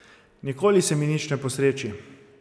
Nikoli se mi nič ne posreči.